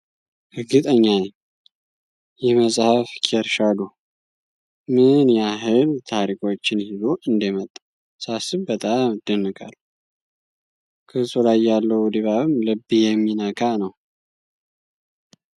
እርግጠኛ ነኝ! ይህ መጽሐፍ (ኬር ሻዶ) ምን ያህል ታሪኮችን ይዞ እንደመጣ ሳስብ በጣም እደነቃለሁ! ገጹ ላይ ያለው ድባብም ልብ የሚነካ ነው!